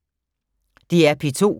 DR P2